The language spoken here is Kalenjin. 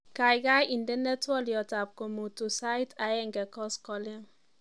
Kaikai indenee twoliotab komutu sait aeng koskolik